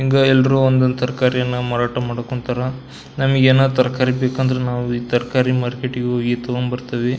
ಹಿಂಗ ಎಲ್ಲರು ಒಂದೊಂದ್ ತರಕಾರಿಯನ್ನ ಮಾರಾಟ ಮಾಡೋಕ್ ಹೊಂಟಾರ ನಮಿಗೆನಾದ್ರು ತರಕಾರಿ ಬೇಕಂದ್ರ ಈ ತರಕಾರಿ ಮಾರ್ಕೆಟ್ ಗೆ ಹೋಗಿ ತಕೊಂಬರ್ತಿವಿ.